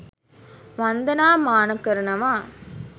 වන්දනාමාන කරනවා.